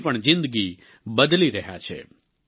તેમની પણ જિંદગી બદલી રહ્યા છે